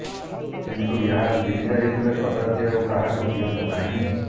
କିନ୍ତୁ ଏହା ଚିରିଯାଇଥିଲେ କଦାପି ଆଉ କାହାକୁ ଦିଅନ୍ତୁ ନାହିଁ